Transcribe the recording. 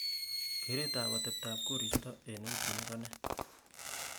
kereet ab atebtab koristo en wigini ko nee